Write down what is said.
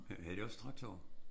Havde de også traktorer?